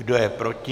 Kdo je proti?